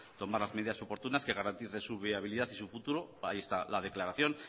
tomar las medidas oportunas que garanticen su viabilidad y su futuro ahí está la declaración